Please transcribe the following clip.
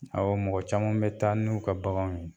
Awɔ mɔgɔ caman bɛ taa n'u ka baganw ye.